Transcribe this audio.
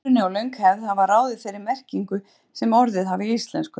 Uppruni og löng hefð hafa ráðið þeirri merkingu sem orðin hafa í íslensku.